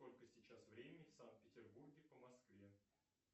сколько сейчас времени в санкт петербурге по москве